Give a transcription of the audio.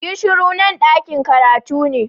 Yi shuru! Nan dakin karatu ne.